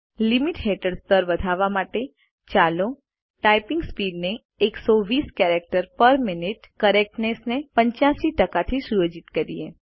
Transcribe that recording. limits હેઠળ સ્તર વધારવા માટે ચાલો ટાઇપિંગ સ્પીડ ને 120 કેરેક્ટર્સ પેર મિન્યુટ કરેક્ટનેસ ને 85 થી સુયોજિત કરો